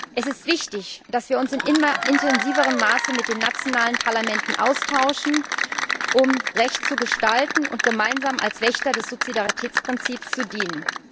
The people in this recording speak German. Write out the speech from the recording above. Es ist wichtig, dass wir uns in immer intensiverem Maße mit den nationalen Parlamenten austauschen, um Recht zu gestalten und gemeinsam als Wächter des Subsidiaritätsprinzips zu dienen.